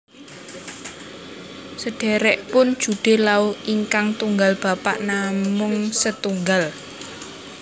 Sederekipun Jude Law ingkang tunggal bapak namung setunggal